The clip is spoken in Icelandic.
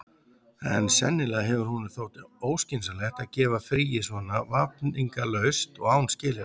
En sennilega hefur honum þótt óskynsamlegt að gefa fríið svona vafningalaust og án skilyrða.